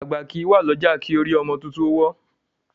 Àgbà kìí wá lọ́jà kórí ọmọ tuntun wọ́.